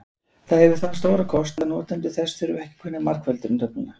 það hefur þann stóra kost að notendur þess þurfa ekki að kunna margföldunartöfluna